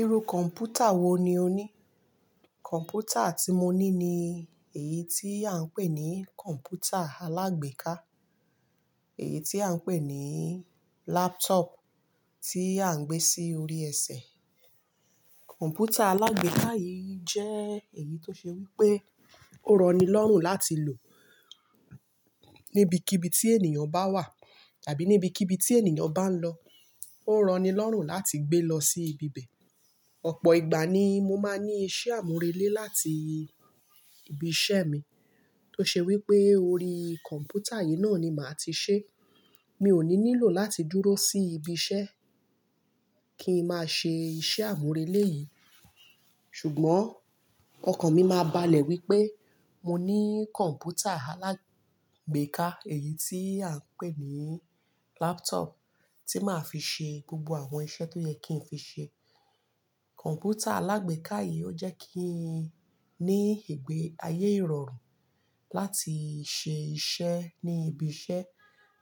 Irú kọ̀mpútà wo ni o ní? Kọ̀mpútà tí mo ní ni èyí tí à ń pè ní kọ̀mpútà alágbèéká, èyí tí à ń pè ní laptop tí à ń gbé sí orí ẹsẹ̀. Kọ̀mpútà alágbèéká yìí jẹ́ èyí tó ṣe wí pé ó rọni lọ́rùn láti lò níbi kibii tí ènìyàn bá wà tàbí níbi kibii tí ènìyàn bá ń lọ. Ó rọni lọ́rùn láti gbé lọ sí ibi bẹ̀. Ọ̀pọ̀ ìgbà ni mo máa n ní iṣẹ́ àmúrelé láti ibi iṣẹ́ mi tó ṣe wí pé orí kọ̀mpútà yìí náà ni màá ti ṣe. Mi ò ní nílò láti dúró sí ibi iṣẹ́ kí n máa ṣe iṣẹ́ àmúrelé yìí. Ṣùgbọ́n ọkàn mi máa balẹ̀ wípé mo ní kọ̀mpútà alágbèéká, èyí tí à ń pè ní laptop tí màá fi ṣe gbogbo àwọn iṣẹ́ tó yẹ kí n fi ṣe. Kọ̀mpútà alágbèéká yìí ó jẹ́ kí n ní ìgbé ayé ìrọ̀rùn láti ṣe iṣẹ́ ní ibi iṣẹ́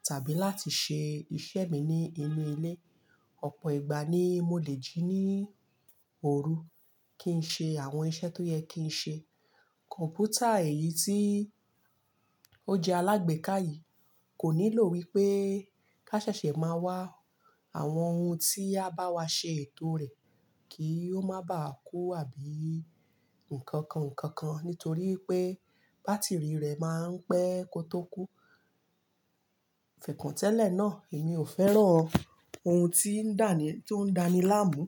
tàbí láti ṣe iṣẹ́ mi ní inú ilé. Ọ̀pọ̀ ìgbà ni mo lè jí ní òru kí n ṣe àwọn iṣẹ́ tó yẹ kí n ṣe. Kọ̀mpútà èyí tí ó jẹ́ alágbèéká yìí kò nílò wípé ká ṣẹ̀ṣẹ̀ máa wá àwọn ohun tí a bá wa ṣe ètò rẹ̀ kí ó máa bàá kú àbí ǹkankan ǹkankan nítorí pé bátìrì rẹ̀ máa ń pẹ́ kótó kú. Fẹẹkan tẹ́lẹ̀ náà, èmi ò fẹ́ràn ohun tí ń dà ní, tó ń dáni láàmú.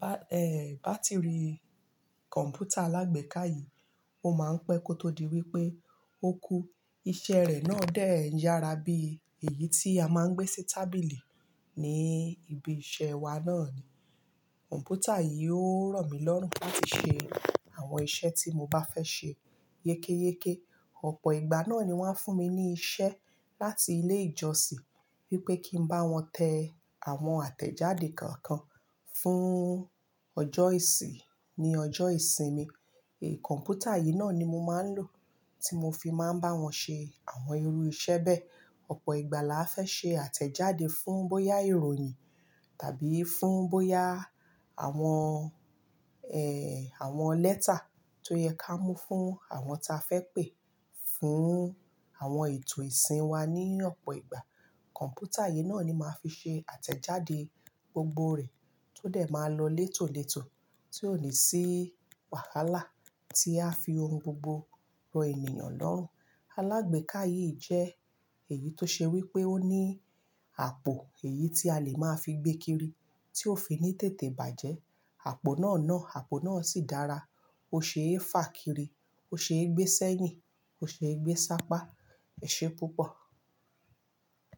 Bá, eh, bátìrì kọ̀mpútà alágbèéká yìí ó máa ń pẹ́ kó tó di wípé ó kú. Iṣẹ́ rẹ̀ náà dẹ n yára bí èyí tí a máa ń gbé sí tábìlì ní ibi iṣẹ́ wa náà ni. Kọ̀mpútà yìí ó rọ̀ mí lọ́rùn láti ṣe àwọn iṣẹ́ tí mo bá fẹ́ ṣe. Yékéyéké, ọ̀pọ̀ ìgbà náà ni wọ́n á fún mi ní iṣẹ́ láti ilé ìjọsìn wípé kí n bá wọn tẹ àwọn àtẹ̀jáde kọ̀ọ̀kan fún ọjọ́ ìsìn ní ọjọ́ ìsinmi. Kọ̀mpútà yìí náà ni mo máa ń lò tí mo fi máa ń bá wọn ṣe àwọn irú iṣẹ́ bẹ́ẹ̀. Ọ̀pọ̀ ìgbà làá fẹ́ ṣe àtẹ̀jáde fún bóyá ìròyìn tàbí fún bóyá àwọn, eh, àwọn lẹ́tà tó yẹ ká mú fún àwọn ta fẹ́ pè, fún àwọn ètò ìsìn wa ní ọ̀pọ̀ ìgbà. Kọ̀mpútà yìí náà ni màá fi ṣe àtẹ̀jáde gbogbo rẹ̀ tó dẹ̀ máa lọ létòlétò tí ò ní sí wàhálà tí á fi ohun gbogbo rọ ènìyàn lọ́rùn. Alágbèéká yìí jẹ́ èyí tó ṣe wí pé ó ní àpò èyí tí a lè máa fi gbé kiri tí ó fi ní tètè bàjẹ́. Àpò náà ná, àpò náà sì dára. Ó ṣe é fà kiri, ó ṣe é gbé sẹ́yìn, ó ṣe é gbé sápá. Ẹ̀ṣé púpọ̀